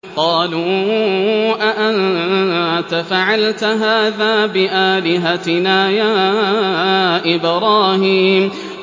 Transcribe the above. قَالُوا أَأَنتَ فَعَلْتَ هَٰذَا بِآلِهَتِنَا يَا إِبْرَاهِيمُ